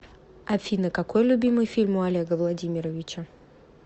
афина какой любимый фильм у олега владимировича